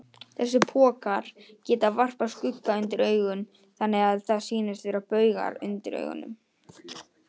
Þessir pokar geta varpað skugga undir augun, þannig að það sýnast vera baugar undir augunum.